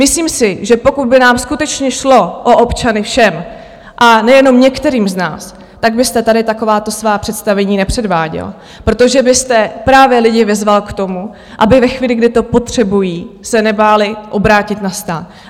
Myslím si, že pokud by nám skutečně šlo o občany všem, a nejenom některým z nás, tak byste tady takováto svá představení nepředváděl, protože byste právě lidi vyzval k tomu, aby ve chvíli, kdy to potřebují, se nebáli obrátit na stát.